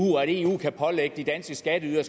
og at eu kan pålægge de danske skatteydere